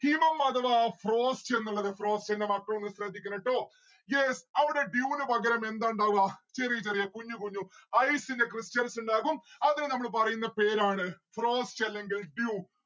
ഹിമം അഥവാ frost എന്നുള്ളത്. frost എന്റെ മക്കളൊന്ന് ശ്രദ്ധിക്കണം ട്ടോ. yes അവിടെ dew ന് പകരം എന്താ ഇണ്ടാവുക ചെറിയ ചെറിയ കുഞ്ഞു കുഞ്ഞു ice ന്റെ stals ഇണ്ടാകും അതിന് നമ്മള് പറയുന്ന പേരാണ് frost അല്ലെങ്കിൽ dew